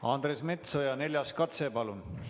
Andres Metsoja, neljas katse, palun!